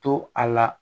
To a la